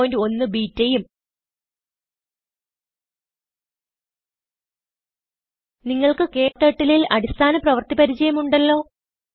081 ബെട്ട ഉം നിങ്ങൾക്ക് KTurtleനെ ൽ അടിസ്ഥാന പ്രവൃത്തി പരിചയം ഉണ്ടല്ലോ